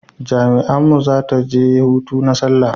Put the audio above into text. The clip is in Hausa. jami'an mu za ta je hutu na sallah